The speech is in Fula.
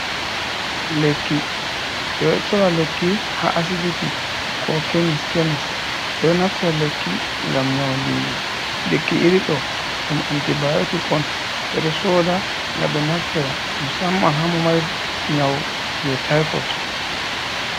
Lekki ɓe ɗo sora lekki ha asibiti, ko kemis, kemis, ɓe ɗo naftira lekki ngam nyaudigo, lekki iri ɗo ɗum antibiotic on, ɓe ɗo soda ngam naftira musamman ha mo mari nyau je tifot.